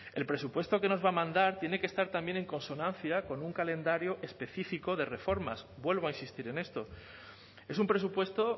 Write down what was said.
el presupuesto que nos va a mandar tiene que estar también en consonancia con un calendario específico de reformas vuelvo a insistir en esto es un presupuesto